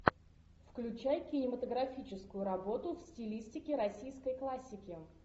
включай кинематографическую работу в стилистике российской классики